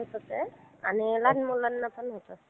आणि लहान मुलांना पण होतं.